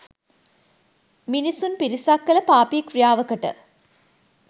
මිනිසුන් පිරිසක් කළ පාපී ක්‍රියාවකට